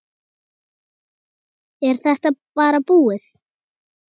Er þetta bara búið?